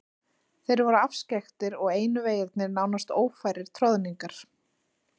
Þeir voru afskekktir og einu vegirnir nánast ófærir troðningar.